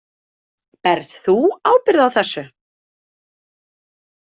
Berð þú ábyrgð á þessu?